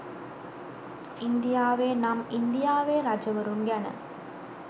ඉන්දියාවේ නම් ඉන්දියාවේ රජවරුන් ගැන